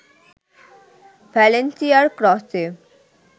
ভ্যালেন্সিয়ার ক্রসে